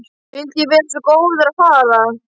Vildi ég vera svo góður að fara!